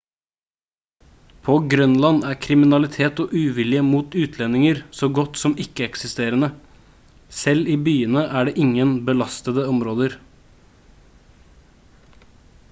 på grønland er kriminalitet og uvilje mot utlendinger så godt som ikke eksisterende. selv i byene er det ingen «belastede områder»